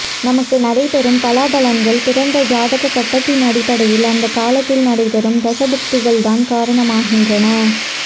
நமக்கு நடைபெறும் பலாபலன்கள் பிறந்த ஜாதக கட்டத்தின் அடிப்படையில் அந்தக்காலத்தில் நடைபெறும் தசாபுக்திகள்தான் காரணமாகின்றன